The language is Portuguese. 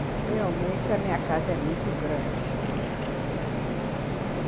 Olha, realmente, a minha casa é muito grande.